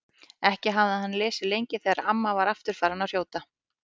Ekki hafði hann lesið lengi þegar amma var aftur farin að hrjóta.